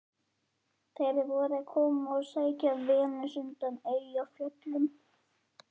Þeir voru að koma að sækja Venus undan Eyjafjöllum.